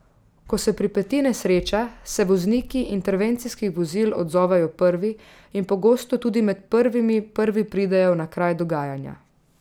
Ko se pripeti nesreča, se vozniki intervencijskih vozil odzovejo prvi in pogosto tudi med prvimi prvi pridejo na kraj dogajanja.